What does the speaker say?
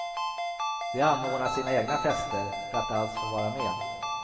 De anordnar sina egna fester för att alls få vara med.